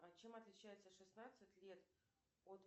чем отличается шестнадцать лет от